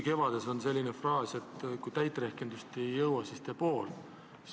"Kevades" on selline fraas, et kui täit rehkendust ei jõua, siis tee pool.